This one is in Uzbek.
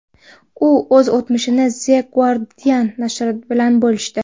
U o‘z o‘tmishini The Guardian nashri bilan bo‘lishdi .